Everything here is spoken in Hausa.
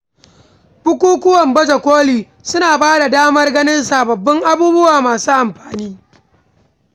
Bukukuwan baje koli suna bada damar ganin sababbin abubuwa masu amfani.